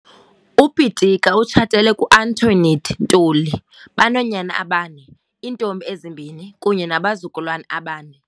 UPitika utshatele ku-Antoinette Ntuli, Banoonyana abane, iintombi ezimbini kunye nabazukulwana abane.